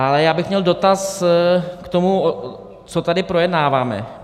Ale já bych měl dotaz k tomu, co tady projednáváme.